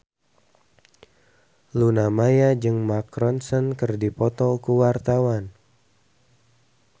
Luna Maya jeung Mark Ronson keur dipoto ku wartawan